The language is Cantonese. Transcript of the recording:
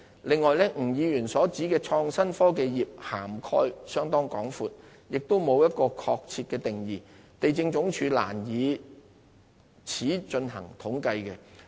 此外，吳議員所指的"創新科技業"涵蓋面相當廣闊，亦沒有一個確切的定義，地政總署難以此進行統計。